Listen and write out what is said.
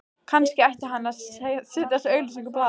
Kannski ætti hann að setja þessa auglýsingu í blaðið